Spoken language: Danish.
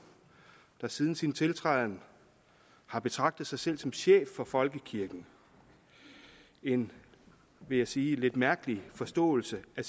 der siden sin tiltræden har betragtet sig selv som chef for folkekirken en vil jeg sige lidt mærkelig forståelse af